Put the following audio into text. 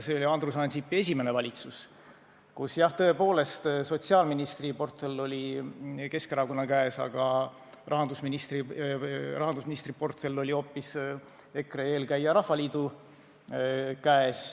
See oli Andrus Ansipi esimene valitsus, kus jah, tõepoolest, sotsiaalministri portfell oli Keskerakonna käes, aga rahandusministri portfell oli hoopis EKRE eelkäija Rahvaliidu käes.